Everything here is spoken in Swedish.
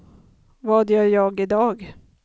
vad gör jag idag